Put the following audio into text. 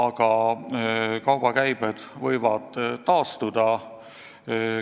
Samas, kaubakäibed võivad taastuda.